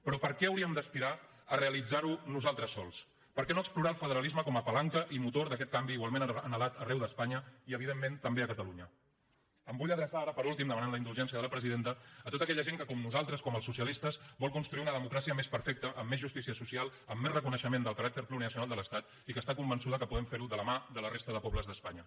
però per què hauríem d’aspirar a realitzarho nosaltres sols per què no explorar el federalisme com a palanca i motor d’aquest canvi igualment anhelat arreu d’espanya i evidentment també a catalunya em vull adreçar ara per últim demanant la indulgència de la presidenta a tota aquella gent que com nosaltres com els socialistes vol construir una democràcia més perfecta amb més justícia social amb més reconeixement del caràcter plurinacional de l’estat i que està convençuda que podem ferho de la mà de la resta de pobles d’espanya